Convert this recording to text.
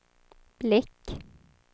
blick